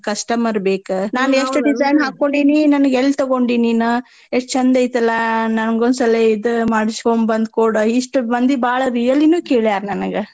Customer ಬೇಕ ಎಷ್ಟ್ design ಹಾಕ್ಕೋಂಡೇನಿ ನನ್ಗ್ ಎಲ್ ತಗೊಂಡಿ ನೀನ ಎಷ್ಟ್ ಚಂದ್ ಐತಾಲಾ ನಂಗೊಂದ್ಸಲಿ ಇದ ಮಾಡ್ಸ್ಕೋಂಬಂದ್ಕೊಡ್ ಇಷ್ಟ್ ಮಂದಿ ಬಾಳ really ನೂ ಕೇಳ್ಯಾರ್ ನನಗ.